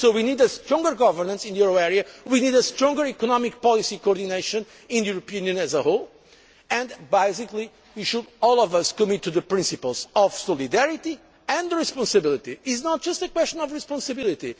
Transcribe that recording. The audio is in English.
So we need stronger governance in the euro area we need stronger economic policy coordination in the European Union as a whole and basically, we should, all of us, commit to the principles of solidarity and responsibility. It is not just a question of responsibility